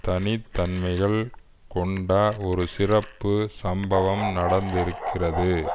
தனித்தன்மைகள் கொண்ட ஒரு சிறப்பு சம்பவம் நடந்திருக்கிறது